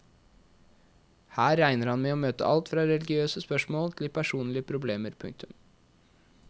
Her regner han med å møte alt fra religiøse spørsmål til personlige problemer. punktum